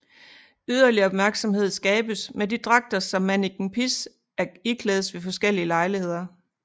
Yderligere opmærksomhed skabes med de dragter som Manneken Pis iklædes ved forskellige lejligheder